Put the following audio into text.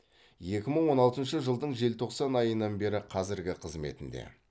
екі мың он алтыншы жылдың желтоқсан айынан бері қазіргі қызметінде